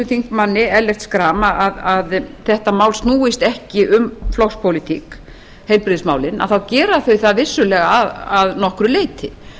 þingmanni ellert schram að þetta mál snúist ekki um flokkspólitík heilbrigðismálin gera þau það vissulega að nokkru leyti